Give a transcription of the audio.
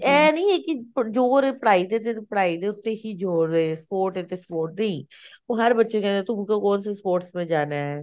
ਐਂ ਨੀ ਐ ਜੋਰ ਪੜ੍ਹਾਈ ਤੇ ਸੀਏਫ਼ ਪੜ੍ਹਾਈ ਦੇ ਉੱਤੇ ਹੀ ਜੋਰ ਐ sport ਐ ਤੇ sport ਨਹੀਂ ਉਹ ਹਰ ਬੱਚੇ ਨੂੰ ਕਹਿੰਦੇ ਨੇ ਕੀ ਤੁਮਨੇ ਕੋਣ ਸੇ sports ਮੇ ਜਾਣਾ